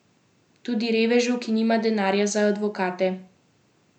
Tudi revežu, ki nima denarja za advokate.